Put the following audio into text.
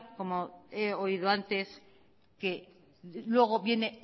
como he oído antes que luego viene